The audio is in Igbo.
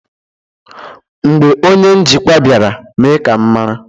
Mgbe onye njikwa bịara, mee ka m mara.